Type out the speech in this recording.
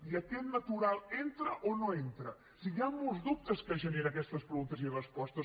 i aquest natural hi entra o no hi entra o sigui hi han molts dubtes que generen aquestes preguntes i respostes